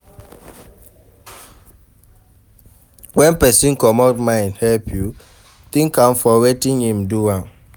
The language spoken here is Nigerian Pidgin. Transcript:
When person comot mind help you, thank am for wetin im do